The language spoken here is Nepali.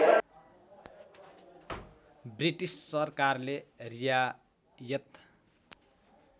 ब्रिटिस सरकारले रियायत